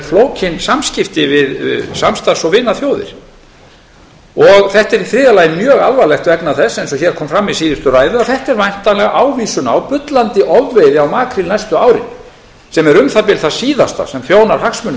flókin samskipti við samstarfs og vinaþjóðir þetta er í þriðja lagi mjög alvarlegt vegna þess eins og hér kom fram í síðustu ræðu að þetta er væntanlega ávísun á bullandi ofveiði á makríl næstu árin sem er um það bil það síðasta sem þjónar hagsmunum